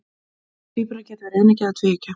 tvíburar geta verið eineggja eða tvíeggja